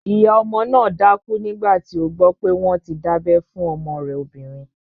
Ìyá ọmọ náà dákú nígbàtí ó gbọ́ pé wọ́n ti dábẹ́ fún ọmọ rẹ̀ obìnrin